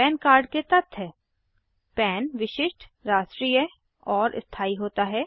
pan card के तथ्य पन विशिष्ट राष्ट्रीय और स्थाई होता है